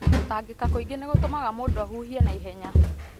Gũtangĩka kaingĩ nĩ gũtũmaga mũndũ ahuhie na ihenya,